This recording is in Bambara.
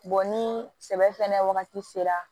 ni sɛbɛ fɛnɛ wagati sera